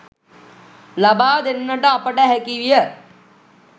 ලබාදෙන්නට අපට හැකිවිය.